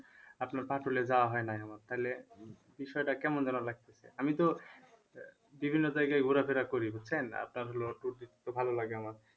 আপনার যাওয়া হয় নাই আমার তালে বিষয়টা কেমন যেন লাগতেছে আমি তো বিভিন্ন জায়গায় ঘুরাফিরা করি বুঝছেন আপনার হলো tour দিতে তো ভালো লাগে আমার